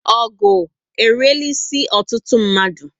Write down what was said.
Ogụ eriela isi ọtụtụ mmadu